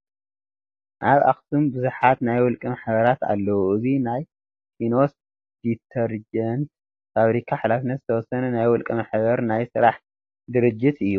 ኣብ ኣክሱም ብዙሓት ናይ ውልቀ ማሕበራት ኣለው፡፡ እዚ ናይ ፋኖስ ዲተርጀንት ፋብሪካ ሓላፈነቱ ዝተወሰነ ናይ ውልቀ ማሕበር ናይ ስራሕ ድርጅት እዩ፡፡